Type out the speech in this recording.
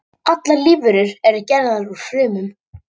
Allar lífverur eru gerðar úr frumum.